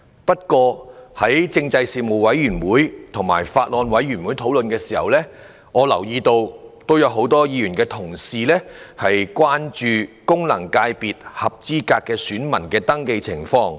不過，在政制事務委員會和《2019年選舉法例條例草案》委員會討論時，很多議員關注功能界別合資格選民的登記情況。